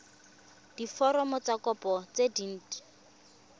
diforomo tsa kopo tse dint